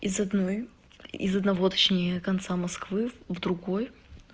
из одной из одного точнее конца москвы в другой